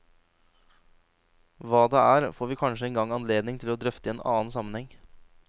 Hva det er, får vi kanskje en gang anledning til å drøfte i annen sammenheng.